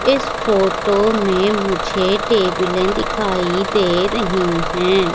इस फोटो में मुझे टेबले दिखाई दे रही है।